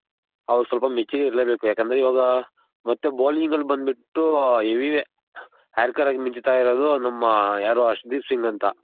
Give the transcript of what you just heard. ಅವ್ರ್ ಸ್ವಲ್ಪ mature ಇರಲೇ ಬೇಕು ಯಾಕಂದ್ರೆ ಇವಾಗ ಮತ್ತೆ bowling ಅಲ್ ಬಂದ್ ಬಿಟ್ಟು heavy hacker ಆಗಿ ಮಿಂಚ್ ತಾ ಇರೋದು ಯಾರು ನಮ್ಮ ಅಶುದೀಪ್ ಸಿಂಗ್ ಅಂತ.